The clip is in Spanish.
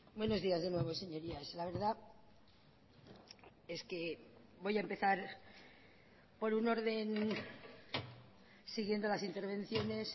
buenos días de nuevo señorías la verdad es que voy a empezar por un orden siguiendo las intervenciones